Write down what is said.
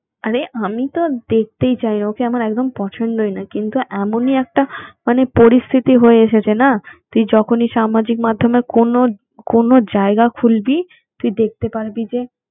আরে আমি তো দেখতেই চাই, ওকে আমার একদম পছন্দই নয়, কিন্তু এমনই একটা মানে পরিস্থিতি হয়ে এসেছে না তুই যখনই সামাজিক মাধ্যমে কোন - কোন জায়গা খুলবি তুই দেখতে পারবি যে